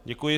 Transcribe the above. Děkuji.